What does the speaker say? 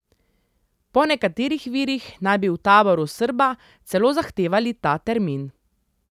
Po nekaterih virih naj bi v taboru Srba celo zahtevali ta termin.